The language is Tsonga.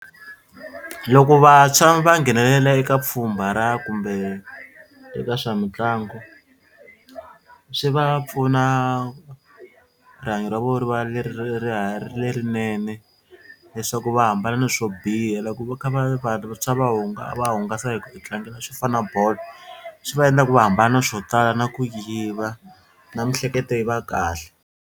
Loko vantshwa va nghenelela eka pfhumba ra kumbe eka swa mitlangu swi va pfuna rihanyo ra vona ri va lerinene leswaku va hambana na swo biha loko va kha va vantshwa va va hungasa hi ku titlangela swo fana na bolo swi va endla ku va hambana swo tala na ku yiva na miehleketo yi va kahle.